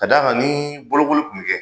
Ka d'a kan ni bolokoli kunmi kɛ.